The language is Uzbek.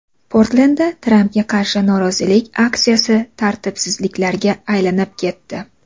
Portlendda Trampga qarshi norozilik aksiyasi tartibsizliklarga aylanib ketdi .